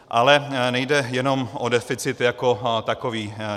Ale nejde jenom o deficit jako takový.